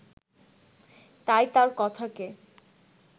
তাই তার কথাকে